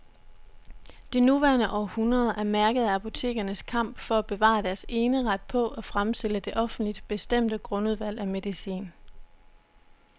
Det nuværende århundrede er mærket af apotekernes kamp for at bevare deres eneret på at fremstille det offentligt bestemte grundudvalg af medicin.